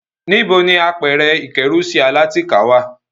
Níbo ni àpẹrẹ-ìkẹ́rùsí alátìká wà?